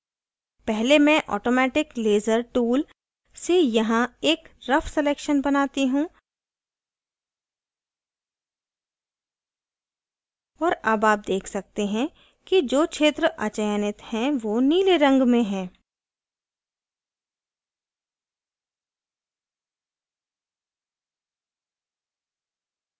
पहले मैं automatic laser tool से यहाँ एक रफ़ selection बनाती हूँ और अब आप देख सकते हैं कि जो क्षेत्र अचयनित है rough नीले रंग में है